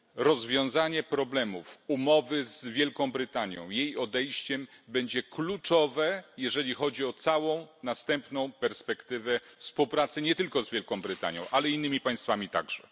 Rozwiązanie problemów umowy z Wielką Brytanią, jej odejściem, będzie kluczowe, jeżeli chodzi o całą następną perspektywę współpracy nie tylko z Wielką Brytanią, ale innymi państwami także.